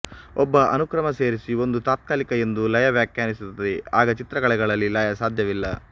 ಒಬ್ಬ ಅನುಕ್ರಮ ಸೇರಿಸಿ ಒಂದು ತಾತ್ಕಾಲಿಕ ಎಂದು ಲಯ ವ್ಯಾಖ್ಯಾನಿಸುತ್ತದೆ ಆಗ ಚಿತ್ರಕಲೆಗಳಲ್ಲಿ ಲಯ ಸಾಧ್ಯವಿಲ್ಲ